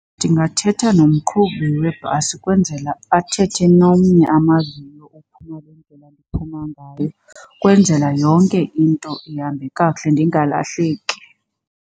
Ndingathetha nomqhubi webhasi kwenzela athethe nomnye amaziyo ophuma le ndlela ndiphuma ngayo, kwenzela yonke into ihambe kakuhle ndingalahleki.